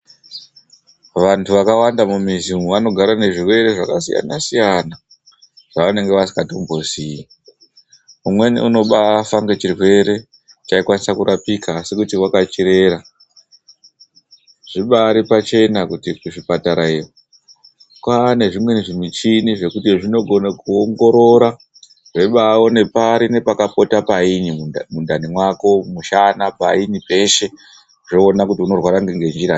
Vantu vakawanda mumizi umwu vanogara nezvirwere zvakasiyana siyana zvevanonga vasikatombozii. Umweni unobaafa ngechirwere chaikwanisa kurapika asi kuti wakachirera. Zvibaari pachena kuti kuzvipatara iyo kwaane zvimweni zvimuchini zvekuti zvinogona kuongorora zveibaaone pari nepakapota painyi mundani mwako mushana painyi peshe zvoona kuti unorwara ngenjiranyi